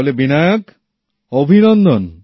তাহলে বিনায়ক অভিনন্দন